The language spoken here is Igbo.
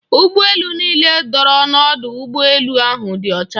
Ụgbọ elu niile dọrọ n'ọdụ ụgbọ elu ahụ dị ọcha.